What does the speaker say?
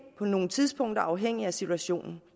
på nogle tidspunkter afhængigt af situationen